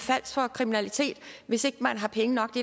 kriminalitet hvis ikke man har penge nok